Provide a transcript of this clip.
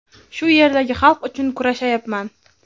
shu yerdagi xalq uchun kurashayapman.